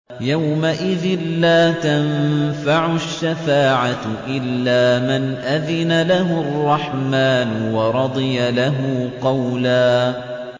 يَوْمَئِذٍ لَّا تَنفَعُ الشَّفَاعَةُ إِلَّا مَنْ أَذِنَ لَهُ الرَّحْمَٰنُ وَرَضِيَ لَهُ قَوْلًا